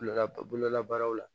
Bololabaara bololabaaraw la